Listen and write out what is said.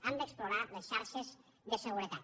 hem d’explorar les xarxes de seguretat